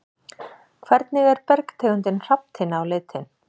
Hvernig er bergtegundin hrafntinna á litinn?